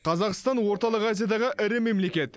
қазақстан орталық азиядағы ірі мемлекет